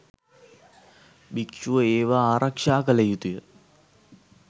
භික්‍ෂුව ඒවා ආරක්‍ෂා කළ යුතුය.